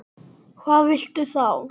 Hvað viltu þá?